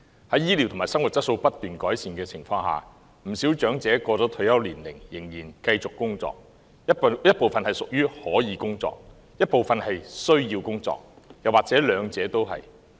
在醫療及生活質素不斷改善的情況下，不少長者過了退休年齡仍然繼續工作，一部分是屬於可以工作的，一部分是需要工作，又或者兩者都是。